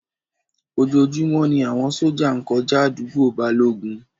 Ojoojúmọ́ ni àwọn sójà ń kọjá àdúgbò Balógun